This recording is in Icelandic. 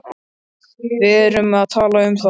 Við erum að tala um það!